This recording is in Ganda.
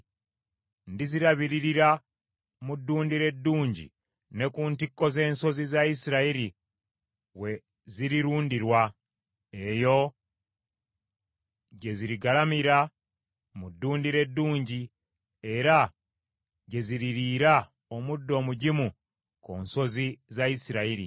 Ndizirabiririra mu ddundiro eddungi ne ku ntikko z’ensozi za Isirayiri we zirirundirwa. Eyo gye zirigalamira mu ddundiro eddungi era gye ziririira omuddo omugimu ku nsozi za Isirayiri.